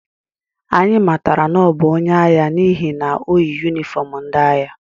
Anyị matara na ọ bụ onye agha n’ihi na o yi yunifọm ndị agha